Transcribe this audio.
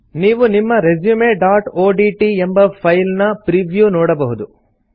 ನೀವು ನಿಮ್ಮ resumeಒಡಿಟಿ ಎಂಬ ಫೈಲ್ ನ ಪ್ರೀವ್ಯೂ ನೋಡಬಹುದು